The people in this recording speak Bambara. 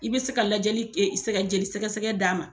I be se ka lajɛli sɛgɛ jeli sɛgɛgɛ d'a ma